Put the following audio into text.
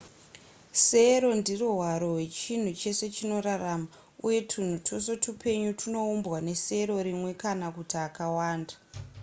sero ndiro hwaro hwechinhu chese chinorarama uye twunhu twese twupenyu twunoumbwa nesero rimwe kana kuti akawanda